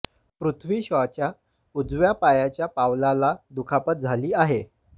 पृथ्वी शॉच्या उजव्या पायाच्या पावलाला दुखापत झाली आहे